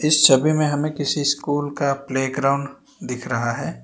इस छवि में हमें किसी स्कूल का प्लेग्राउंड दिख रहा है।